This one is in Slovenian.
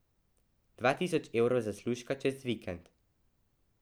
Dva tisoč evrov zaslužka čez vikend.